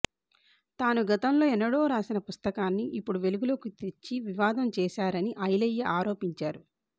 తాను గతంలో ఎన్నడో రాసిన పుస్తకాన్ని ఇప్పుడు వెలుగులోకి తెచ్చి వివాదం చేశారని ఐలయ్య ఆరోపించారు